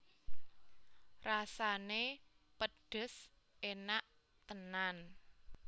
Rasané pedhes enak tenan